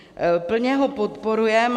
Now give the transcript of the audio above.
Plně ho podporujeme.